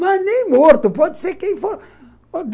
Mas nem morto, pode ser quem for.